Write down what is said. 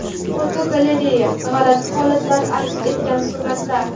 Fotogalereya: G‘alati holatlar aks etgan suratlar.